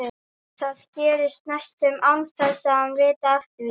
Það gerist næstum án þess að hann viti af því.